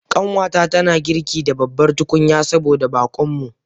Kanwata tana girki da babbar tukunya saboda bakon mu.